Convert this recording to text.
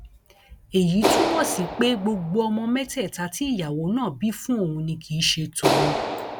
èyí túmọ sí pé gbogbo ọmọ mẹtẹẹta tí ìyàwó náà bí fún òun ni kì í ṣe tòun